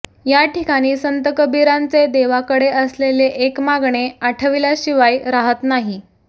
या ठिकाणी संत कबिरांचे देवाकडे असलेले एक मागणे आठविल्याशिवाय राहात नाही